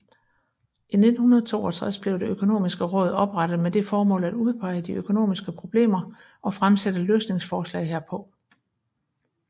I 1962 blev Det økonomiske råd oprettet med det formål at udpege de økonomiske problemer og fremsætte løsningsforslag herpå